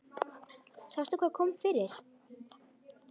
Sástu hvað kom fyrir?